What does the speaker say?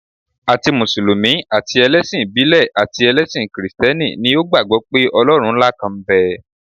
Àti mùsùlùmí, àti ẹlẹ́sìn ìbílẹ̀ àti ẹlẹ́sìn kìrìsìtẹ́nì ni ó gbàgbọ́ pé Ọlọ́run ńlá kan ń bẹ.